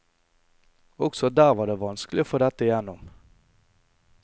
Også der var det vanskelig å få dette igjennom.